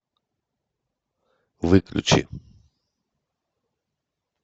выключи